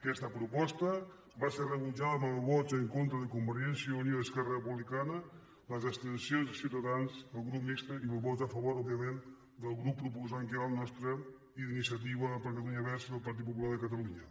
aquesta proposta va ser rebutjada amb els vots en contra de convergència i unió i esquerra republicana les abstencions de ciutadans i el grup mixt i els vots a favor òbviament del grup proposant que era el nostre i d’iniciativa per catalunya verds i el partit popular de catalunya